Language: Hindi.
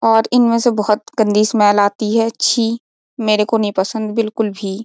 और इनमे से बहुत गंदी स्मेल आती है छी मेरे को नहीं पसंद बिलकुल भी।